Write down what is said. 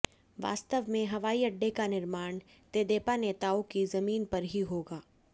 वास्तव में हवाई अड्डे का निर्माण तेदेपा नेताओं की जमीन पर ही होगा